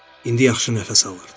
İndi yaxşı nəfəs alırdım.